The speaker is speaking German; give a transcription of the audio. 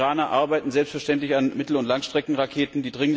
Die Iraner arbeiten selbstverständlich an Mittel und Langstreckenraketen.